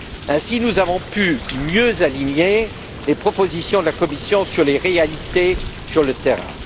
Ainsi, nous avons pu mieux aligner les propositions de la Commission sur les réalités sur le terrain.